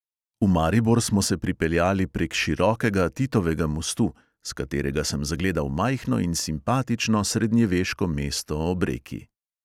V maribor smo se pripeljali prek širokega titovega mostu, s katerega sem zagledal majhno in simpatično srednjeveško mesto ob reki.